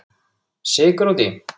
Sykur út í.